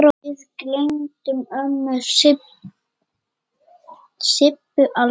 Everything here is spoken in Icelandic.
Við gleymum ömmu Sibbu aldrei.